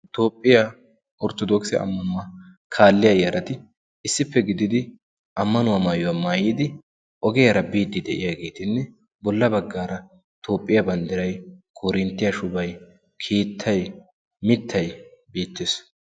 toophphiyaa orttodooksi ammanuwaa kaalliya yarati issippe gididi ammanuwaa maayuwaa maayiidi ogiyaara biiddi de'iyaageetinne bolla baggaara toophphiyaa banddiray koorinttiyaa shubay keettay mittay biittees